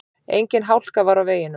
Engin hálka var á veginum